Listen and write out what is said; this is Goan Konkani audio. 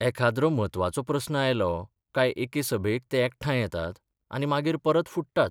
एखाद्रो म्हत्वाचो प्रस्न आयलो काय एके सभेक ते एकठांय येतात आनी मागीर परत फुट्टात.